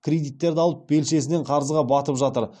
кредиттерді алып белшесінен қарызға батып жатыр